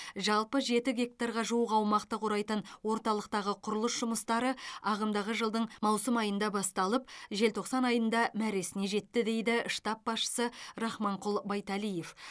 жалпы жеті гектарға жуық аумақты құрайтын орталықтағы құрылыс жұмыстары ағымдағы жылдың маусым айында басталып желтоқсан айында мәресіне жетті дейді штаб басшысы рахманқұл байтелиев